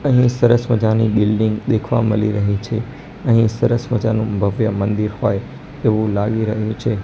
અહીં સરસ મજાની બિલ્ડીંગ દેખવા મલી રહી છે અહીં સરસ મજાનું ભવ્ય મંદિર હોય તેવું લાગી રહ્યું છે.